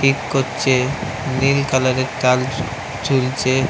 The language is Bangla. থিক করছে নীল কালার -এঁর তার ঝুলছে--